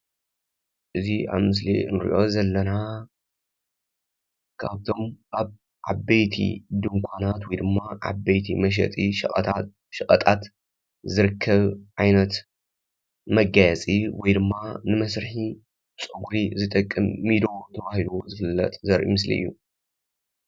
እዚ ኣብ ምስሊ እንርእዮ ዘለና ካብ እቶም ዓበይቲ ድንኳናት ወይ ድማ ዓበይቲ መሸጢ ሸቀጣ ሸቀጣት ዝርከብ ዓይነት መጋየፂ ወይ ድማ ንመስርሒ ፀጉሪ ዝጠቅም ሚዶ ተባሂሉ ዝፍለጥ ዘርኢ ምስሊ እዩ።